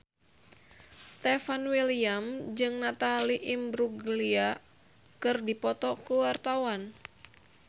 Stefan William jeung Natalie Imbruglia keur dipoto ku wartawan